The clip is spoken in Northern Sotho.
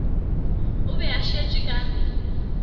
o be a šetše ka